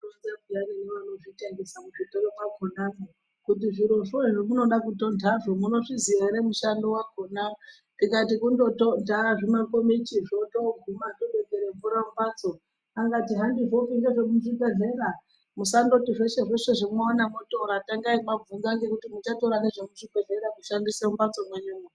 Tinoronzerwe peyani nevanozvitengesa muzvitoro makona kuti zvirozvo zvemunoda kutonhaazvo munozviziva here mushando wakonaa, ndikati kungotontaa zvimakomichizvo zvotogumaa zvotochere mvura mumbatsoo, akati handizvopi ndezvekuchibhedhlera musandoti zveshe zveshe zvamaona motora tangai mabvunzaa ngekuti muchatoraa nezvemuchibhedhlera kushandisa mumbatso menyumo.